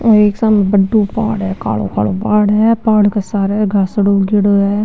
ओ सामे एक बड़ो पहाड़ है कालो कालो पहाड़ है पहाड़ के सारे घासडो उगयोडो है।